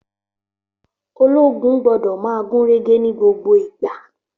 Ológun gbódò ma gúnrégé ní gbogbo ìgbà